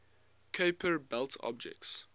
kuiper belt objects